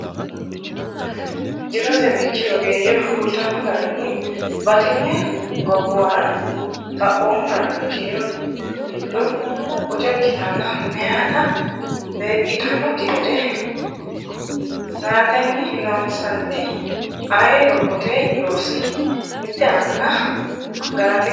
Jirote bikki ogeeyye kultanno garinni batinye gobbuwara xaphoomu dagate kiiro giddo boco ikkitannota meyaata beeqqitannokki gede satenni loonsanniti aye lophote loosi mitte anga ganate gedeeti.